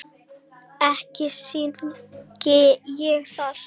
Ekki syrgi ég það.